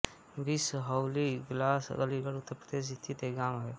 बिसहौली इगलास अलीगढ़ उत्तर प्रदेश स्थित एक गाँव है